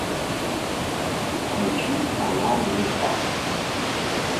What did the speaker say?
включить канал звезда